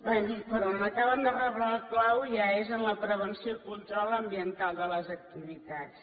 bé però on acaben de reblar el clau ja és en la prevenció i control ambiental de les activitats